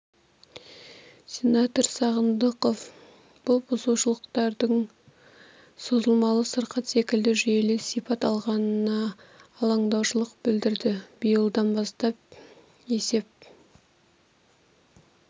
сенатор сағындықов бұл бұзушылықтардың созылмалы сырқат секілді жүйелі сипат алғанына алаңдаушылық білдірді биылдан бастап есеп